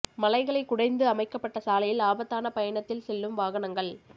மலைகளைக் குடைந்து அமைக்கப்பட்ட சாலையில் ஆபத்தான பயணத்தில் செல்லும் வாகனங்கள்